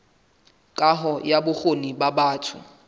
kaho ya bokgoni ba batho